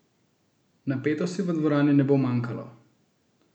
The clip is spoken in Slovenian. Napetosti v dvorani ne bo manjkalo!